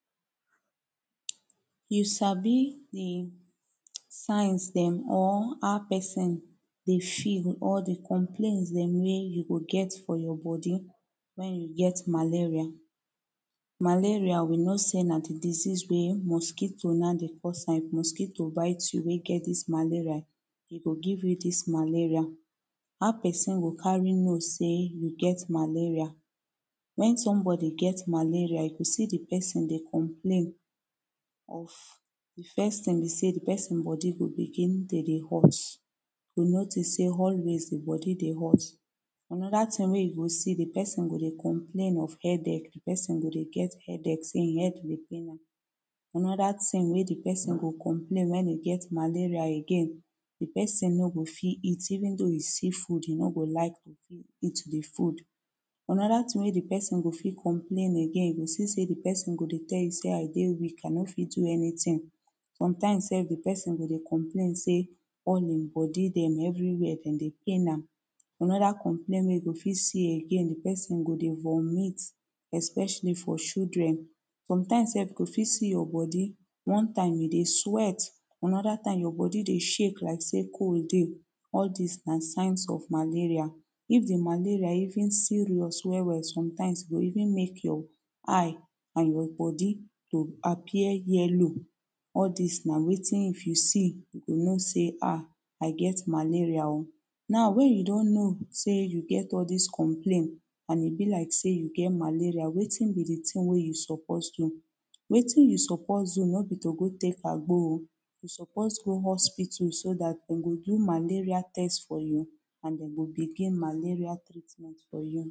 You Sabi de signs dem or how person dey feel or the complains dem wey you go get from your body wen you get malaria. Malaria we know say na de disease wey mosquito na de cuz am if mosquito bite you wey get dis malaria e go give you this malaria How person go carry know say you get malaria Wen somebody get malaria if you see de person dey complain of de first ting be say de pesin body dey dey hot you notice say always dey body dey hot. Anoda tin wey you go see dem pesin go dey complain of headache de pesin go dey get headache say hin head dey pain am Anoda tin wey dey pesin go complain wen e get malaria again, de pesin no go fit eat even though e see food e no go like to eat the food. Anoda tin wey dey pesin go fit complain again you see say dem pesin go dey tell you say I dey weak I no fit do anytin. Sometimes sef de person go dey complain say all him body dem everywhere dem dey pain am Anod complain wey you go fit see again de pesin go dey vomit especially for children sometimes sef you go fit see your body one time you dey sweat anoda time your body dey shake like say cold dey. All this na signs of malaria if the malaria even serious well well sometimes e go even make your eye and your body go appear yellow all dis na wetin if you see you go know say ahh I get malaria oo. Now wen you don know say you get all dis complain and e be like say you get malaria, wetin be de tin wey you suppose do. Wetin you suppose do no be to go tek agbo oo You suppose go hospital so dat dem go do malaria test for you and dem go begin malaria